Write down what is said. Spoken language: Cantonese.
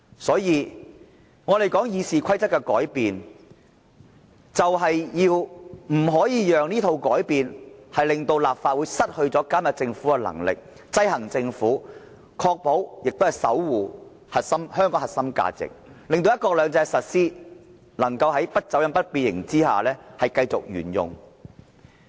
所以，我們說《議事規則》的改變，就是不可以讓這套改變，令立法會失去監察政府、制衡政府的能力，確保香港這核心價值得到守護，令"一國兩制"能夠在不走樣、不變形之下繼續沿用。